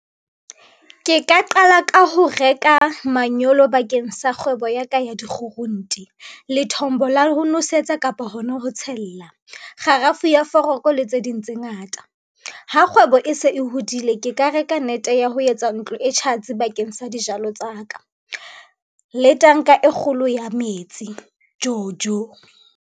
Ke ka qala ka ho reka manyolo bakeng sa kgwebo ya ka ya di-groente, lethombo la ho nosetsa kapa hona ho tshella, kgarafu ya foroko le tse ding tse ngata. Ha kgwebo e se e hodile, ke ka reka nete ya ho etsa ntlo e tjhatsi bakeng sa dijalo tsa ka le tanka e kgolo ya metsi, jojo.